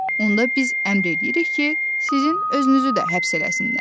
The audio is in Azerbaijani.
Onda biz əmr eləyirik ki, sizin özünüzü də həbs eləsinlər.